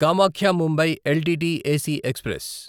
Kamakhya Mumbai L T T AC express